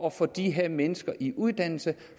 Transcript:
at få de her mennesker i uddannelse